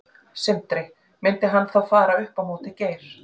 Sindri: Myndi hann þá fara upp á móti Geir?